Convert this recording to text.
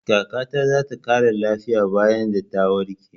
Kaka ta za ta ƙara lafiya bayan ta warke.